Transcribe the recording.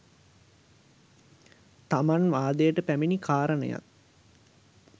තමන් වාදයට පැමිණි කාරණයත්,